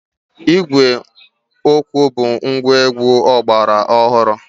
Ígwè okwu bụ ngwaegwu ọgbara ọhụrụ.